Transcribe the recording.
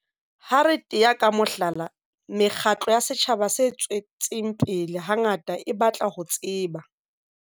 Ha re tea ka mohlala, mekgatlo ya setjhaba se tswetseng pele hangata e batla ho tseba.